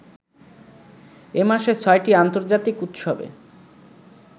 এ মাসে ছয়টি আন্তর্জাতিক উৎসবে